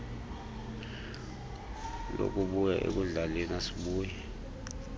lokubuya ekudlaleni asibuyi